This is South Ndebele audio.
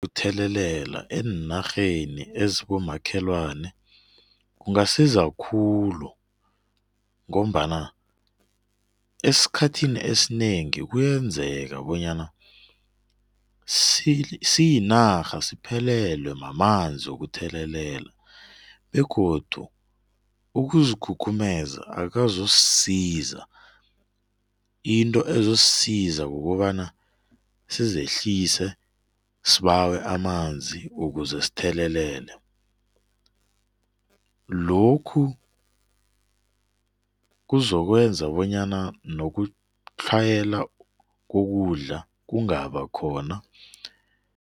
Ukuthelelela eenarheni ezibomakhelani kungasiza khulu ngombana esikhathini esinengi kuyenzeka bonyana siyinarha siphelelwe mamanzi wokuthelelela begodu ukuzikhukhumeza akukazosisiza. Into ezosisiza kukobana sizehlise sibawe amanzi ukuze sithelelele. Lokhu kuzokwenza bonyana nokutlhayela kokudla kungaba khona.